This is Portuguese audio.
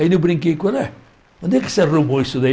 Ainda eu brinquei qual é, onde é que você arrumou isso daí?